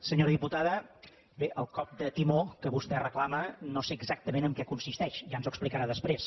senyora diputada bé el cop de timó que vostè reclama no sé exactament en què consisteix ja ens ho explicarà després